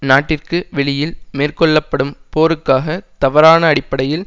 நாட்டிற்கு வெளியில் மேற்கொள்ள படும் போருக்காக தவறான அடிப்படையில்